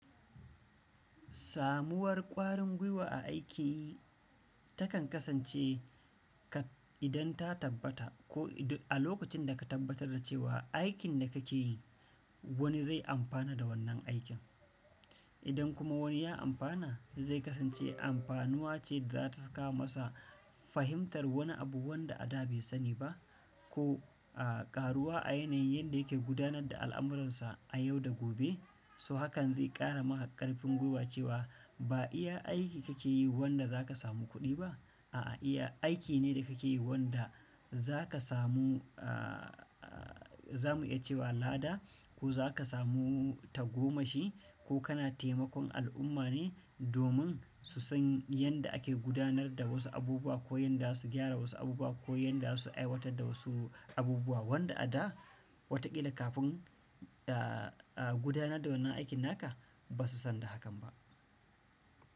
Samuwar ƙwarin gwiwa a aiki takan kasance ka idan ta tabbata ko idan a lokacin da ka tabbatar da cewa aikin da kake yi wani zai amfana da wannan aikin. Idan kuma wani ya amfana, zai kasance amfanuwa ce da za ta saka masa fahimtar wani abu wanda a da bai sani ba a ƙaruwa a yanayin yadda yake gudanar da al'amuransa a yau da gobe. So hakan zai ƙara maka ƙarfin gwiwa cewa ba iya aiki kake yi wanda za ka samu kuɗi ba, a'a iya aiki ne da kake yi wanda za ka samu, a zamu iya cewa lada ko za ka samu tagomashi ko kana taimakon al'umma ne domin su san yadda ake gudanar da wasu abubuwa ko yanda za su gyara wasu abubuwa ko yanda za su aiwatar da wasu abubuwa wanda a da, wataƙila kafin gudanar da wannan aikin naka ba su san da hakan ba.